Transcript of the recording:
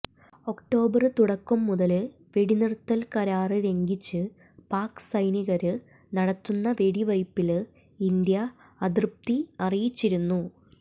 October തുടക്കം മുതല് വെടിനിര്ത്തല് കരാര് ലംഘിച്ച് പാക് സൈനികര് നടത്തുന്ന വെടിവയ്പ്പില് ഇന്ത്യ അതൃപ്തി അറിയിച്ചിരുന്നു